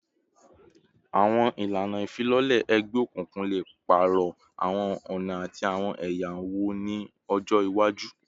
Awọn ilana ifilọlẹ egbeokunkun le paarọ awọn ọna ati awọn ẹya wọn ni ọjọ iwaju